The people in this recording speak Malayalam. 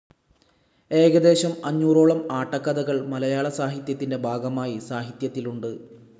ഏകദേശം അഞ്ഞൂറോളം ആട്ടക്കഥകൾ മലയാളസാഹിത്യത്തിന്റെ ഭാഗമായി സാഹിത്യത്തിലുണ്ട്.